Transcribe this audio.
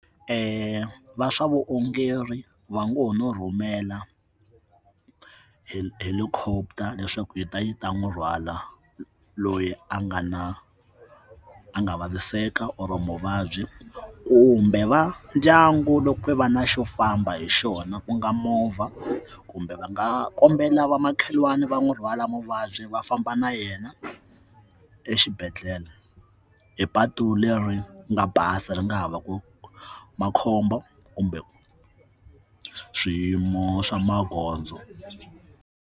Va swa vuongeri va ngo ho no rhumela hi helicopter leswaku yi ta yi ta n'wi rhwala loyi a nga na a nga vaviseka or muvabyi kumbe va ndyangu loko va na xo famba hi xona ku nga movha kumbe va nga kombela va makhelwani va n'wi rhwala muvabyi va famba na yena exibedhlele hi patu leri nga basa ri nga ha va ku makhombo kumbe swiyimo swa magondzo.